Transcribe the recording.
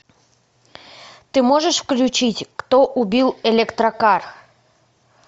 ты можешь включить кто убил электрокар